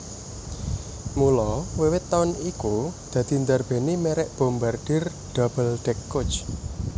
Mula wiwit taun iku dadi ndarbèni mèrek Bombardier Double deck Coach